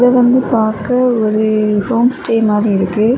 இத வந்து பாக்க ஒரு ஹோம் ஸ்டெ மாரி இருக்கு.